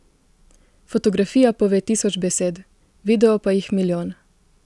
Fotografija pove tisoč besed, video pa jih milijon.